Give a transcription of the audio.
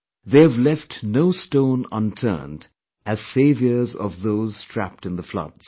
They have left no stone unturned as saviors of those trapped in the floods